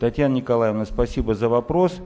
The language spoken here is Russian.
татьяна николаевна спасибо за вопрос